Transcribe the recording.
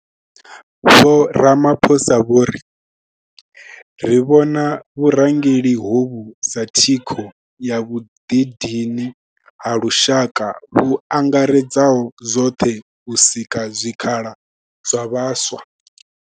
Vho Ramaphosa vho ri ri vhona vhurangeli hovhu sa thikho ya vhuḓidini ha lushaka vhu angaredzaho zwoṱhe u sika zwikhala zwa vhaswa.